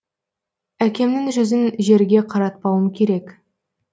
әкемнің жүзін жерге қаратпауым керек